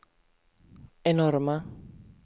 enorma